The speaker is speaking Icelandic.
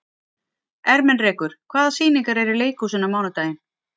Ermenrekur, hvaða sýningar eru í leikhúsinu á mánudaginn?